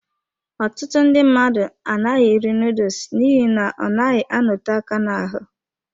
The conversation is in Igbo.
Ọtụtụ ndị mmadụ anaghị eri noodles n'ihi na ọ naghị anote aka n'ahụ.